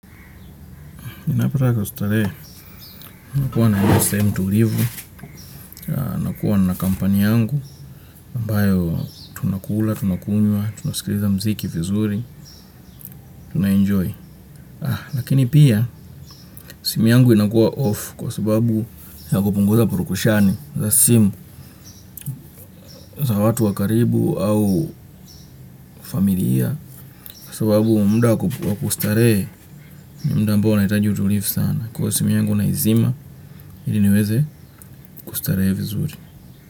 Inapata kustarehee, nakuwa na hivyo sehemi tulivu, nakuwa na kampani yangu, ambayo tunakula, tunakunywa, tunasikiliza mziki vizuri, tunaenjoy. Lakini pia, simu yangu inakuwa off kwa sababu ya kupunguza purukushani za simu za watu wa karibu au familia kwa sababu mda kustarehe ni mda ambao unahitaji utulivu sana. Kwa simu yangu na izima, iliniweze kustarehe vizuri.